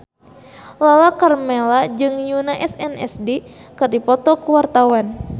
Lala Karmela jeung Yoona SNSD keur dipoto ku wartawan